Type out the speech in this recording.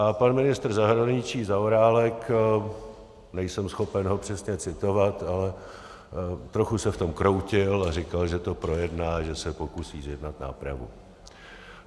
A pan ministr zahraničí Zaorálek - nejsem schopen ho přesně citovat, ale trochu se v tom kroutil a říkal, že to projedná, že se pokusí zjednat nápravu.